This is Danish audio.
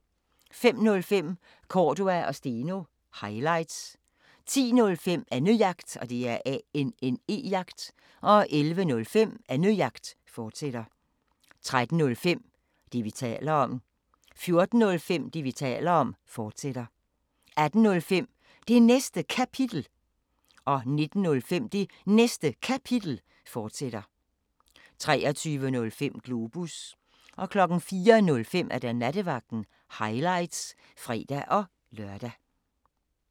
05:05: Cordua & Steno – highlights 10:05: Annejagt 11:05: Annejagt, fortsat 13:05: Det, vi taler om 14:05: Det, vi taler om, fortsat 18:05: Det Næste Kapitel 19:05: Det Næste Kapitel, fortsat 23:05: Globus 04:05: Nattevagten – highlights (fre-lør)